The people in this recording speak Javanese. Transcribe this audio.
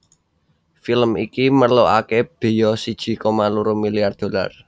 Film iki merlokaké béya siji koma loro milyar dolar